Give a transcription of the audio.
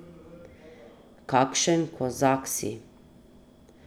Kakšen kozak si.